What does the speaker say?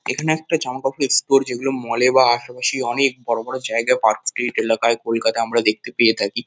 এখানে একটা জামাকাপড় এক্সপ্লোর যেগুলো মল -এ বা আশেপাশেই অনেক বড়ো বড়ো জায়গা পার্কস্ট্রিট এলাকায় আমরা দেখতে পেয়ে থাকি।